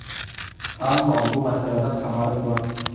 Ammo bu masaladan xabarim bor.